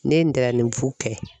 Ne ye ntɛrɛnnibu kɛ.